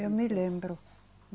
Eu me lembro.